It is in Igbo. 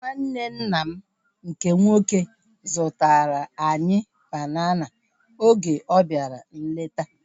Nwanne nna m nke nwoke zụtara anyị banana oge ọ bịara nleta